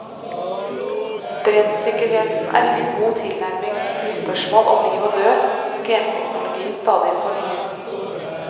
Brennsikkerheten er ingen god tilnærming til de spørsmål om liv og død genteknologien stadig fornyer.